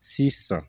Si san